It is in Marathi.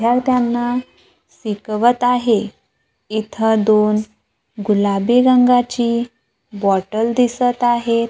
द्यार्थ्यांना सिकवत आहे इथं दोन गुलाबी रंगाची बॉटल दिसत आहे.